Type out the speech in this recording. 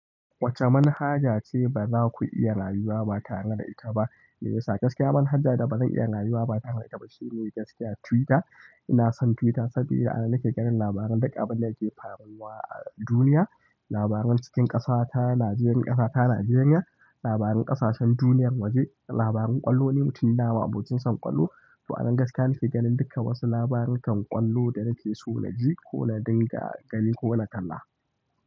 Wacce manhaja ce ba za ku iya rayuwa ba tare da ita ba? Meye yasa gaskiya manhaja da ba zan iya rayuwa ba tare da ita ba shi ne gaskiya Twitter. Ina son Twitter saboda anan nake ganin labaran duk abin da yake faruwa a duniya, labaran cikin ƙasata, Najeriya, ƙasata Najeriya, labaran ƙasashen duniyar waje, labaran ƙwallo ni mutum ne ma'abocin son ƙwallo. To anan gaskiya nake ganin dukkan wasu labarukan ƙwallo da nake so na ji ko na dinga gani ko na kalla.